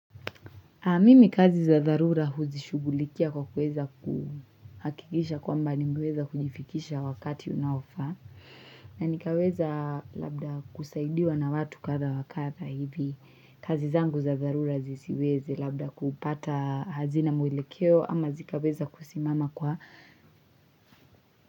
Mimi kazi za dharura huzishughulikia kwa kuweza kuhakikisha kwamba nimeweza kujifikisha wakati unaofaa. Na nikaweza labda kusaidiwa na watu kadhaa wa kadha hivi. Kazi zangu za za dharura zisiwezi labda kupata hazina mwelekeo ama zikaweza kusimama kwa.